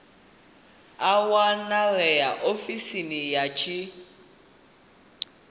a wanalea ofisini ya tsini